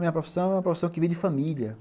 Minha profissão é uma profissão que vem de família.